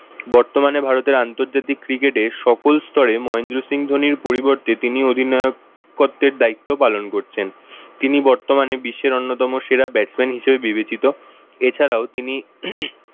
বর্তমানে ভারতের আন্তর্জাতিক cricket এ সকল স্তরে মহেন্দ্র সিং ধোনির পরিবর্তে তিনি অধিনায়কত্বের দায়িত্ব পালন করছেন। তিনি বর্তমানে বিশ্বের অন্যতম সেরা batsman হিসেবে বিবেচিত। এছাড়াও তিনি